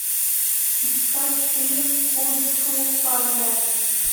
искать фильм кунг фу панда